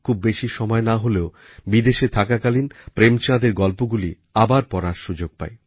খুব বেশি সময় না হলেও বিদেশে থাকাকালীন প্রেমচাঁদের গল্পগুলি আবার পড়ার সুযোগ পাই